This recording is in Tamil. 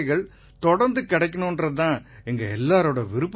நிதேஷ் குப்தா உங்க ஆசிகள் தொடரணுங்கறது தான் எங்க எல்லாரோட விருப்பமும்கூட